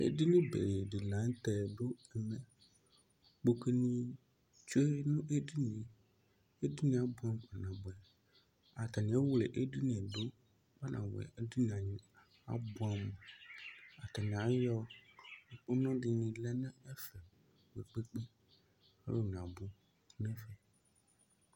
ɛƒʋyi atike atikewani abʋ ɔlʋɛna dʋ ɛƒɛ alʋvi ɛla ɔlʋɛdi yabevʋ atike ɛdi